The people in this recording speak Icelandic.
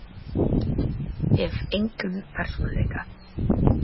Hef engan persónuleika.